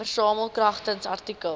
versamel kragtens artikel